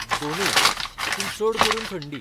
दोनूय. पूण चड करून थंडी.